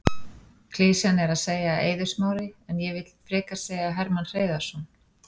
Klisjan er að segja Eiður Smári en ég vill frekar segja Hermann Hreiðarsson.